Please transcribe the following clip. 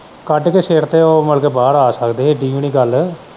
ਕੱਢ ਕੇ ਸਰ ਤੋਂ ਮੁੜਕੇ ਬਾਹਰ ਆ ਸਕਦੇ ਇੱਡੀ ਵੀ ਨਹੀਂ ਗੱਲ।